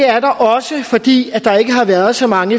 er der også fordi der ikke har været så mange